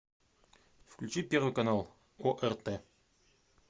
включи первый канал орт